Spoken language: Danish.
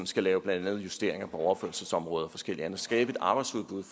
skal lave justeringer på overførselsområdet og forskelligt andet skabe et arbejdsudbud